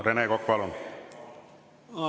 Rene Kokk, palun!